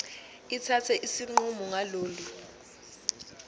ithathe isinqumo ngalolu